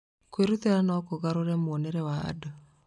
Kwĩrutĩra no kũgarũre muonere wa andũ.